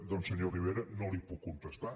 doncs senyor rivera no li ho puc contestar